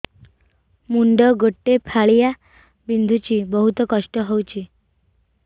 ମୁଣ୍ଡ ଗୋଟେ ଫାଳିଆ ବିନ୍ଧୁଚି ବହୁତ କଷ୍ଟ ହଉଚି